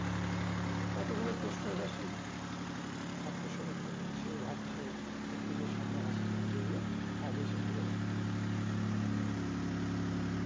কতগুলো প্রশ্ন অব্যশই আত্মসমীক্ষা করছে ভাবছে প্রশ্নগুলো সামনে আসছে যেগুলো আগে সে ভেবে দেখে